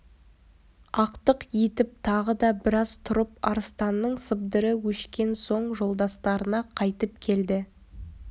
ақтық етіп тағы да біраз тұрып арыстанның сыбдыры өшкен соң жолдастарына қайтып келді